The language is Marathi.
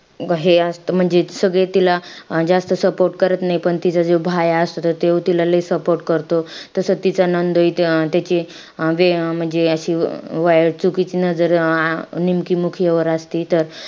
हे असतं. म्हणजे सगळे तिला अं जास्त support करत नाई. पण तिचा जो असतो. त तो तिला लई support करतो. तसं तिचा नंदोई अं त्याची अं बे अं म्हणजे अशी चुकीची नजर अं निमकी मुखिया वर असती त,